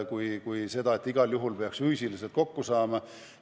Ei ole vaja igal juhul füüsiliselt kokku saada.